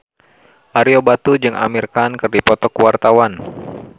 Ario Batu jeung Amir Khan keur dipoto ku wartawan